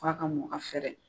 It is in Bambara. f'a ka mɔ ka fɛrɛ.